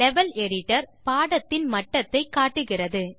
level editor பாடத்தின் மட்டத்தை காட்டுகிறது